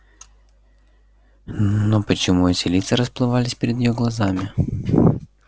но почему лица эти расплывались перед её глазами